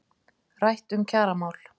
Rætt um kjaramál